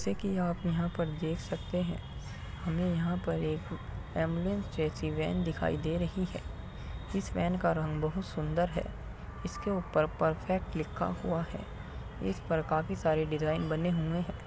जैसे कि आप यहाँ पर देख सकते हैं हमें यहाँ पर एक एम्बुलेंस जैसी वैन दिखाई दे रही है। इस वैन का रंग बहुत सुन्दर है इसके ऊपर परफेक्ट लिखा हुआ है इस पर काफी सारी डिज़ाइन बने हुए हैं।